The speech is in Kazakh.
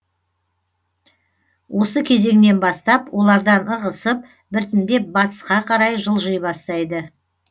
осы кезеңнен бастап олардан ығысып біртіндеп батысқа қарай жылжи бастайды